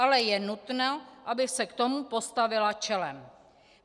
Ale je nutno, aby se k tomu postavila čelem.